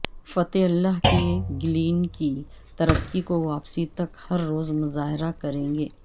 فتح اللہ گلین کی ترکی کو واپسی تک ہر روز مظاہرہ کریں گے